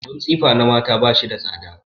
Abin tsifa na mata ba shi da tsada.